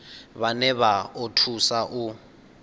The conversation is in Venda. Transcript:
vhane vha o thusa u